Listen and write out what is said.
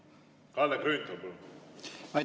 Kalle Grünthal, palun!